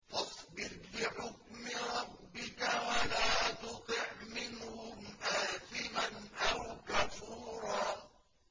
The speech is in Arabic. فَاصْبِرْ لِحُكْمِ رَبِّكَ وَلَا تُطِعْ مِنْهُمْ آثِمًا أَوْ كَفُورًا